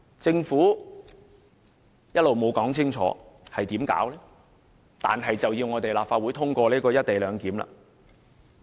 政府一直沒有清楚說明將會怎樣做，但卻要立法會通過《條例草案》。